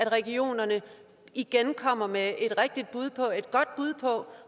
regioner igen kommer med et godt bud på